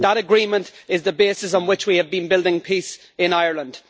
That Agreement is the basis on which we have been building peace in Ireland.